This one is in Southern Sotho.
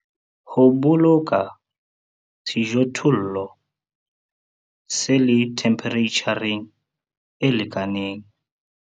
Ho boloka sejothollo se le themphereitjhareng e lekaneng.